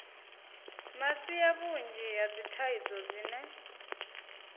masia vhunzhi ha dzithaidzo dzine